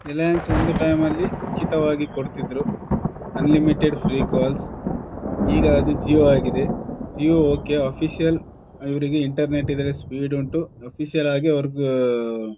ರಿಲಯನ್ಸ್ ಒಂದು ಟೈಮ್ ನಲ್ಲಿ ಉಚಿತವಾಗಿ ಕುಡ್ತಿದ್ರು ಆನ್ ಲಿಮಿಟೆಡ್ ಫ್ರೀ ಕಾಲ್ಸ್ ಈಗ ಅದು ಜಿಯೋ ಆಗಿದೆ ಜಿಯೋ ಓಕೆ ಅಫೀಶಿಯಲ್ ಇವರಿಗೆ ಇಂಟರ್ನೆಟ್ ಇದ್ರೆ ಸ್ಪೀಡ್ ಉಂಟು ಅಫೀಶಿಯಲ್ ಆಗಿ ಅವರಿಗ್ ಆಹ್ಹ್ಹ್--